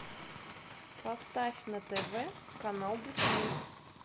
поставь на тв канал дисней